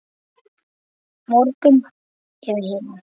Morgun eða hinn.